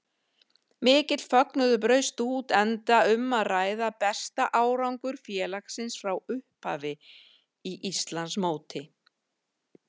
Mikill fögnuður braust út enda um að ræða besta árangur félagsins frá upphafi í Íslandsmóti.